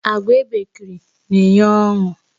Àgwà ebekiri na enye ọṅụ